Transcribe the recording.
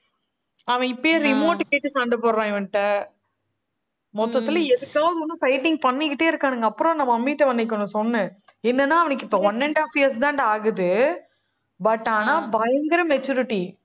அவன் இப்பயே remote கேட்டு சண்டை போடுறான், இவன்கிட்ட மொத்தத்துல எதுக்காவது வந்து fighting பண்ணிக்கிட்டே இருக்கானுங்க. அப்புறம் நம்ம mummy ட்ட அன்னைக்கு ஒண்ணு சொன்னேன். என்னன்னா அவனுக்கு இப்ப one and half years தான்டா ஆகுது. but ஆனா பயங்கர maturity